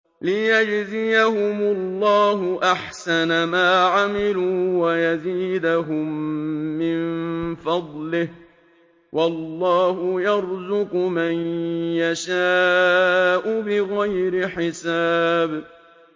لِيَجْزِيَهُمُ اللَّهُ أَحْسَنَ مَا عَمِلُوا وَيَزِيدَهُم مِّن فَضْلِهِ ۗ وَاللَّهُ يَرْزُقُ مَن يَشَاءُ بِغَيْرِ حِسَابٍ